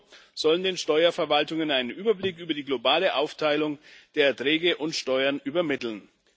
EUR sollen den Steuerverwaltungen einen Überblick über die globale Aufteilung der Erträge und Steuern übermitteln.